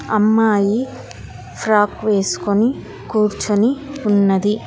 అమ్మాయి శ్రాప్ వేసుకొని కూర్చొని ఉన్నది.